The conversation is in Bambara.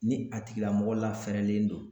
Ni a tigilamɔgɔ lafɛrɛlen don